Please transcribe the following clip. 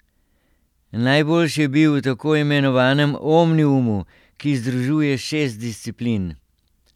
Najboljši je bil v tako imenovanem omniumu, ki združuje šest disciplin.